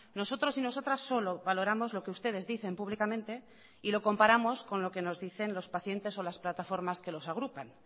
nosotros y nosotras solo valoramos lo que ustedes dicen públicamente y lo comparamos con lo que nos dicen los pacientes o las plataformas que los agrupan